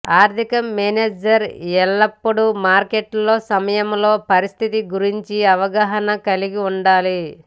ఆర్థిక మేనేజర్ ఎల్లప్పుడూ మార్కెట్లో సమయంలో పరిస్థితి గురించి అవగాహన కలిగి ఉండాలి